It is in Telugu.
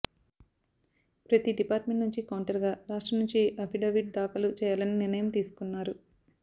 ప్రతి డిపార్ట్ మెంట్ నుంచి కౌంటర్ గా రాష్ట్రం నుంచి అఫిడవిట్ దాఖలు చేయాలని నిర్ణయం తీసుకున్నారు